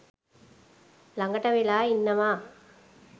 ළඟට වෙලා ඉන්නවා